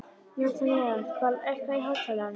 Natanael, lækkaðu í hátalaranum.